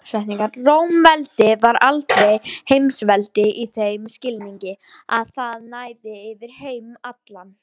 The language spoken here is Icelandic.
Rómaveldi var aldrei heimsveldi í þeim skilningi að það næði yfir heim allan.